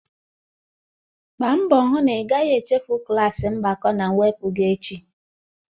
Mgba mbọ na ị gaghị echefu klas mgbakọ na mwepụ gị echi!